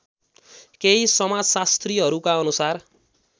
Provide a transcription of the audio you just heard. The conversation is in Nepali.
केही समाजशास्त्रीहरूका अनुसार